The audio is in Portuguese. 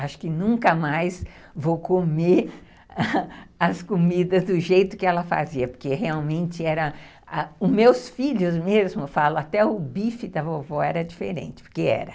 Acho que nunca mais vou comer as comidas do jeito que ela fazia, porque realmente era... Os meus filhos mesmo, até o bife da vovó era diferente, porque era.